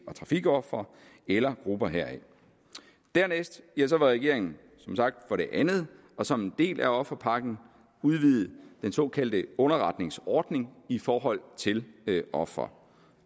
og trafikofre eller grupper heraf dernæst vil regeringen som sagt for det andet og som en del af offerpakken udvide den såkaldte underretningsordning i forhold til ofre